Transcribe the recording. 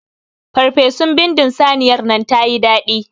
Ferfesun bindin saniyar nan tayi daɗi.